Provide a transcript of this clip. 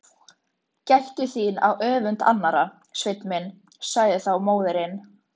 Gættu þín á öfund annarra, Sveinn minn, sagði þá móðirin.